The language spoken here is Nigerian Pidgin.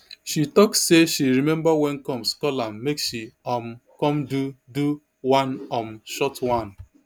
she tok say she remember wen combs call am make she um come do do one um short one